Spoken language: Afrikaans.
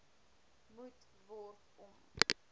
moet word om